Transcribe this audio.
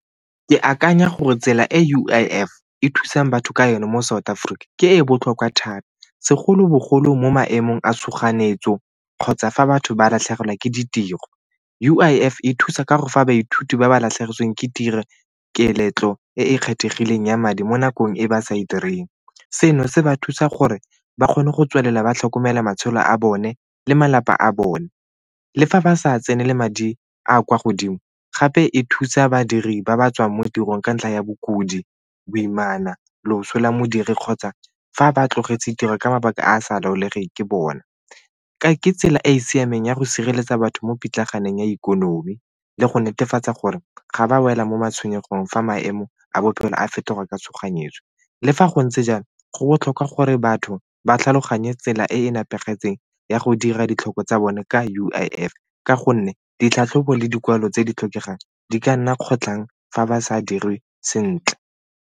Ke akanya gore tsela e U_I_F e thusang batho ka yone mo South Africa ke e e botlhokwa thata segolobogolo mo maemong a tshoganyetso kgotsa fa batho ba latlhegelwa ke ditiro. U_I_F e thusa ka gore fa baithuti ba ba latlhegetsweng ke tiro e e kgethegileng ya madi mo nakong e ba sa e direng. Seno se ba thusa gore ba kgone go tswelela ba tlhokomela matshelo a bone le malapa a bone. Le fa ba sa tsenele madi a a kwa godimo, gape e thusa badiri ba ba tswang mo tirong ka ntlha ya bokudi, boimana, loso la modiri kgotsa fa ba tlogetse tiro ka mabaka a a sa laolegeng ke bona. Ke tsela e e siameng ya go sireletsa batho mo pitlaganeng ya ikonomi le go netefatsa gore ga ba wela mo matshwenyegong fa maemo a bophelo a fetoga ka tshoganyetso. Le fa go ntse jalo, go botlhokwa gore batho ba tlhaloganye tsela e e nepagetseng ya go dira ditlhoko tsa bone ka U_I_F ka gonne ditlhatlhobo le dikwalo tse di tlhokegang di ka nna kgotlhang fa ba sa dirwe sentle.